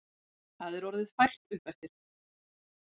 Það er orðið fært uppeftir.